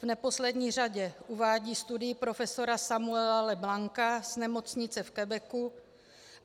V neposlední řadě uvádím studii profesora Samuela LeBlanca z nemocnice v Quebecu.